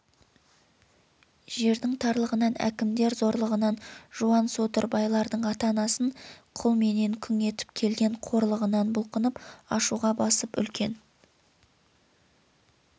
жердің тарлығынан әкімдер зорлығынан жуан содыр байлардың ата-анасын құл менен күң етіп келген қорлығынан бұлқынып ашуға басып үлкен